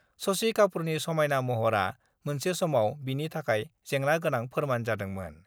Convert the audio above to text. शशि कापुरनि समायना महरआ मोनसे समआव बिनि थाखाय जेंना गोनां फोरमान जादोंमोन।